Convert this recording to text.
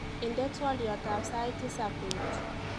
Indenee twoliotab sait tisab bet